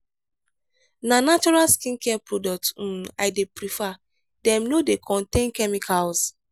na natural skincare products um i dey prefer dem no dey contain chemicals.